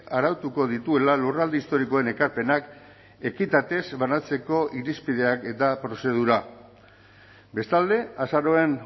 arautuko dituela lurralde historikoen ekarpenak ekitatez banatzeko irizpideak eta prozedura bestalde azaroaren